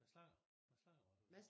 Mads Langer Mads Langer var det